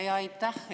Aitäh!